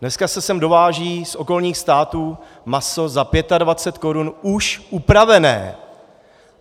Dneska se sem dováží z okolních států maso za 25 korun už upravené.